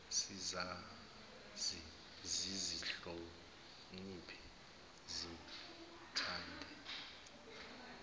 sizazi sizihloniphe sithande